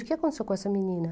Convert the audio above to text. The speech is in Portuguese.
O que aconteceu com essa menina?